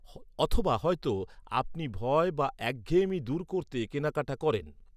অথবা হয়তো, আপনি ভয় বা একঘেঁয়েমি দূর করতে কেনাকাটা করেন।